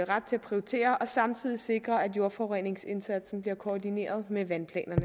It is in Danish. ret til at prioritere og samtidig sikre at jordforureningsindsatsen blive koordineret med vandplanerne